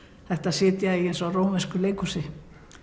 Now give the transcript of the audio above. hægt að sitja í því eins og rómversku leikhúsi